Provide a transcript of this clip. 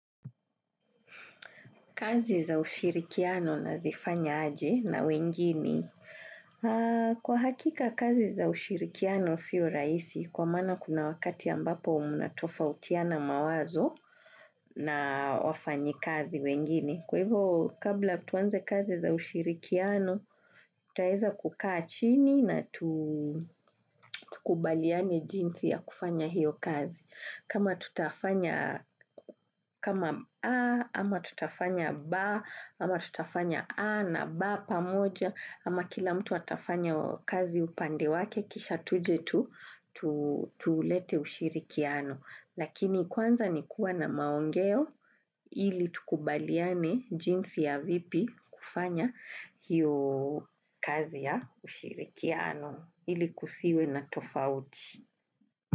Kazi za ushirikiano na zifanya aje na wengini. Kwa hakika, kazi za ushirikiano siyo rahisi. Kwa maana kuna wakati ambapo umunatofautiana mawazo na wafanyi kazi wengini. Kwa hivo kabla tuanze kazi za ushirikiano, taeza kukaa chini na tukubaliane jinsi ya kufanya hiyo kazi. Kama tutafanya kama A, ama tutafanya B, ama tutafanya A na BA pamoja, ama kila mtu atafanya kazi upande wake, kisha tuje tu, tulete ushirikiano. Lakini kwanza ni kuwa na maongeo ili tukubaliane jinsi ya vipi kufanya hiyo kazi ya ushirikiano ili kusiwe na tofauti.